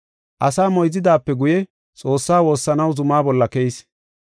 Asaa moyzidaape guye, Xoossaa woossanaw zuma bolla keyis.